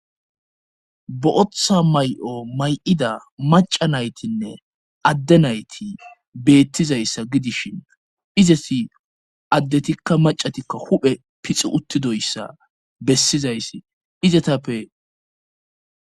Bo7otha may'o may'ida maca naytinne adde nayti beettizayssa gidishin izesi addetikka macatikka huphe pixi uttidoyssa bessizayssi izetappe.